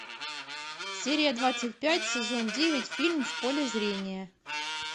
серия двадцать пять сезон девять фильм в поле зрения